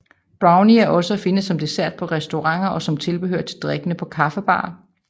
Brownie er også at finde som dessert på restauranter og som tilbehør til drikkene på kaffebarer